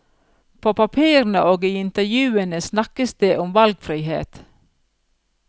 På papirene og i intervjuene snakkes om valgfrihet.